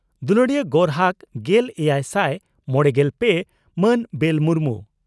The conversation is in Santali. ᱫᱩᱞᱟᱹᱲᱤᱭᱟᱹ ᱜᱚᱨᱦᱟᱠ ᱜᱮᱞ ᱮᱭᱟᱭ ᱥᱟᱭ ᱢᱚᱲᱮᱜᱮᱞ ᱯᱮ ᱢᱟᱱ ᱵᱮᱞ ᱢᱩᱨᱢᱩ